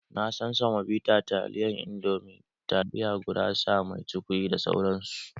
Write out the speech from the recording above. Na san semobita taliyan indomi, taliya gurasa mai cukwi da sauransu